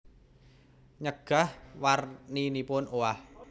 Nyegah warninipun owah